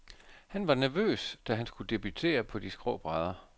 Han var nervøs, da han skulle debutere på de skrå brædder.